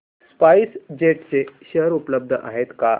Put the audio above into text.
spice jet चे share उपलब्ध आहेत का